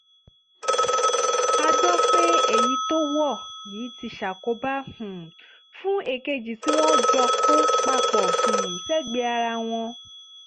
a gbọ́ pé èyí tó wọ̀ yìí ti ṣàkóbá um fún èkejì tí wọ́n jọ kó papọ̀ um sẹ́gbẹ̀ẹ́ ara wọn ọ̀hún